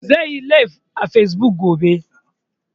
Zai yi laif a fesbuk gobe